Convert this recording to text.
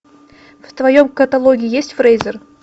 в твоем каталоге есть фрейзер